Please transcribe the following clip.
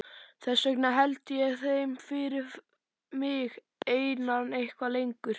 Þess vegna held ég þeim fyrir mig einan eitthvað lengur.